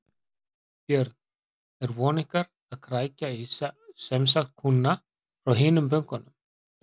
Björn: Er von ykkar að krækja í semsagt kúnna frá hinum bönkunum?